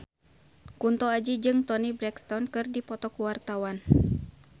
Kunto Aji jeung Toni Brexton keur dipoto ku wartawan